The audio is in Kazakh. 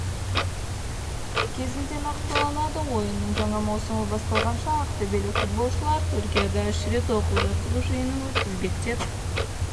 кезінде нақтыланады ойынның жаңа маусымы басталғанша ақтөбелік футболшылар түркияда үш рет оқу-жаттығу жиынын өткізбек деп